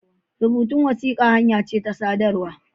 Rubutun wasiƙa hanya ce ta sadarwa.